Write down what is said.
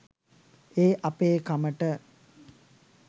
ඒ අපේ කමට